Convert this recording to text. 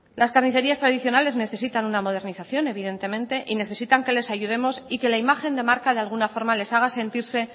las carnicerías tradicionales necesitan una modernización evidentemente y necesitan que les ayudemos y que la imagen de marca de alguna forma les haga sentirse